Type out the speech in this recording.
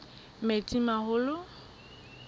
metsimaholo